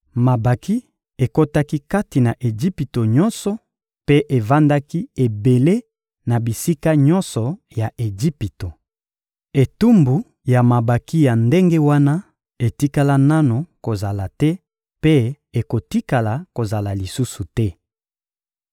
Mabanki ekotaki kati na Ejipito nyonso mpe evandaki ebele na bisika nyonso ya Ejipito. Etumbu ya mabanki ya ndenge wana etikala nanu kozala te mpe ekotikala kozala lisusu te.